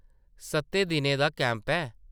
सत्तें दिनें दा कैंप ऐ ।